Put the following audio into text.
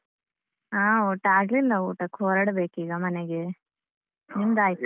ಹಾ ಊಟ ಆಗ್ಲಿಲ್ಲ ಊಟಕ್ಕೆ ಹೊರಡ್ಬೇಕು ಈಗ ಮನೆಗೆ ನಿಮ್ದು ಆಯ್ತಾ?